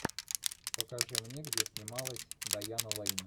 покажи мне где снималась дайана лейн